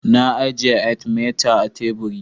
Na ajiye "Artimeter " a teburi.